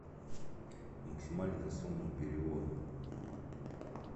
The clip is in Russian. максимальная сумма перевода